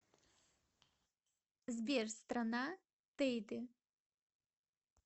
сбер страна тейде